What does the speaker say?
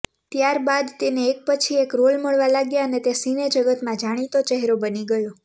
ત્યારબાદ તેને એક પછી એક રોલ મળવા લાગ્યા અને તે સિનેજગતમાં જાણીતો ચહેરો બની ગયો